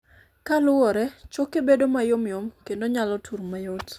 kaluwore, choke bedo mayomyom kendo nyalo tur mayot